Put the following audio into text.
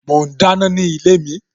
Mo ń dáná ni ilé mi